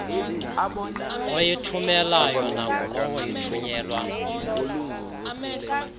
oyithumelayo nangulowo ithunyelwa